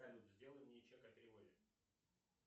салют сделай мне чек о переводе